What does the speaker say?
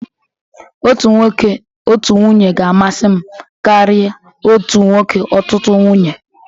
Otu nwoke, otu nwunye ga-amasị m karị otu nwoke, ọtụtụ nwunye.